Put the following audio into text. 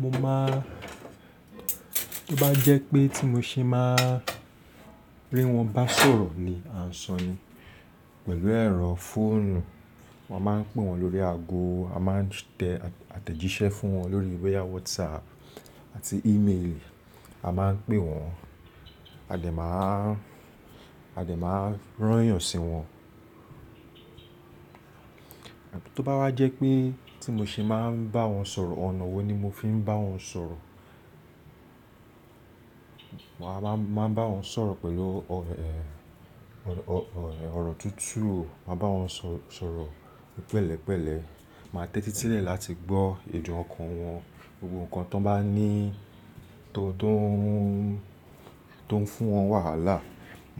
Mo máa-- tó bá jẹ́ pé tí mo ṣe máa rí wọn bá sọ̀rọ̀ ni, à ń sọni pẹ̀lú ẹ̀rọ fóònù, wọ́n máa ń pè wọ́n lórí ago, a máa ń tẹ àtẹ̀jíṣẹ́ fún wọn lórí bóyá WhatsApp àti email, a máa ń pè wọ́n, a dẹ̀ máa, a dẹ̀ máa rányàn sí wọn. Tó bá wá jẹ́ pé tí mo ṣe máa ń bá wọn sọ̀rọ̀, ọ̀nà wo ni mo fi ń bá wọn sọ̀rọ̀? Wàá máa ń bá wọn sọ̀rọ̀ pẹ̀lú ọ̀rọ̀ tútù, màá bá wọn sọ̀rọ̀ pẹ̀lẹ́pẹ̀lẹ́, màá tẹ́tí sílẹ̀ láti gbọ́ èdùn ọkàn wọn, gbogbo nkan tó bá ní-- tó ń fún wọn wàhálà,